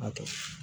Hakɛ